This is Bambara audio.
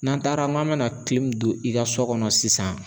N'an taara n'an be na don i ka so kɔnɔ sisan